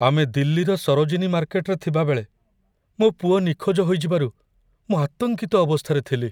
ଆମେ ଦିଲ୍ଲୀର ସରୋଜିନୀ ମାର୍କେଟରେ ଥିବାବେଳେ, ମୋ ପୁଅ ନିଖୋଜ ହୋଇଯିବାରୁ ମୁଁ ଆତଙ୍କିତ ଅବସ୍ଥାରେ ଥିଲି।